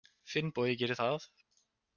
Finnbogi gerir það.